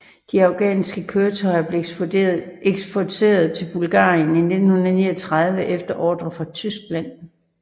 De afghanske køretøjer blev eksporteret til Bulgarien i 1939 efter ordre fra Tyskland